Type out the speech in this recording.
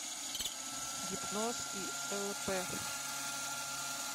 гипноз и лп